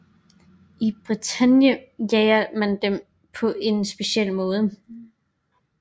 I Bretagne jager man dem på en speciel måde